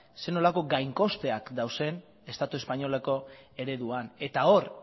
zer nolako gainkosteak dauden estatu espainoleko ereduan hor